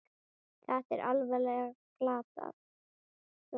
Þetta er alveg glatað svona!